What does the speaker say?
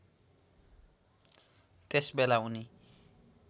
त्यस बेला उनी